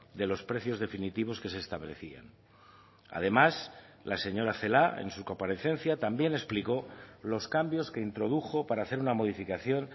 de los precios definitivos que se establecían además la señora celaá en su comparecencia también explicó los cambios que introdujo para hacer una modificación